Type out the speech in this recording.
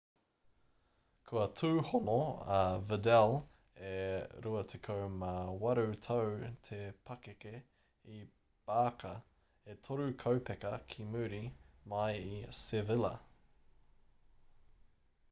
kua tūhono a vidal e 28 tau te pakeke i barca e toru kaupeka ki muri mai i sevilla